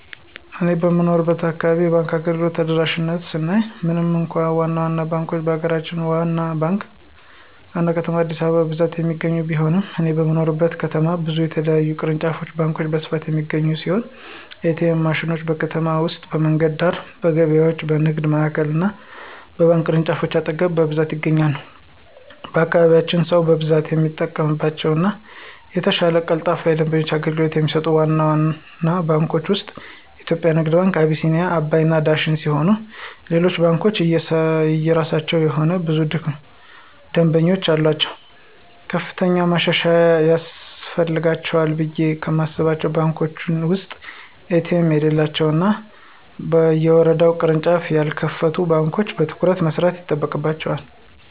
እኔ በምኖርበት አካባቢ የባንክ አገልግሎቶች ተደራሽነት ስናይ ምንም እንኳ ዋና ዋና ባንኮች በሀገራችን ዋና ከተማ አዲስአበባ በብዛት የሚገኙ ቢሆንም እኔ በምኖርበት ከተማ ብዙ የተለያዩ ቅርንጫፍ ባንኮች በስፋት የሚገኙ ሲሆን: ኤ.ቲ.ኤም ማሽኖች: በከተማ ውስጥ በመንገድ ዳር፣ በገበያዎች፣ በንግድ ማዕከሎች እና በባንክ ቅርንጫፎች አጠገብ በብዛት ይገኛሉ። በአካባቢያችን ሰው በብዛት የሚጠቀምባቸው እና የተሻለ ቀልጣፋ የደንበኞች አገልግሎት ከሚሰጡት ዋና ዋና ባንኮች ውስጥ (የኢትዮጽያ ንግድ ባንክ፣ አቢሲኒያ፣ አባይ እና ዳሽን ሲሆኑ ሌሎች ባንኮችም የየራሳቸው የሆነ ብዙ ደምበኞች አሉአቸው። ከፍተኛ ማሻሻያ ያስፈልጋቸዋል ብየ ከማስባቸው ባንኮች ውስጥ ኤ.ቲ.ኤም የሌላቸው እና በየወረዳው ቅርንጫፍ ያልከፈቱ ባንኮች በትኩረት መስራት ይጠበቅባቸዋል።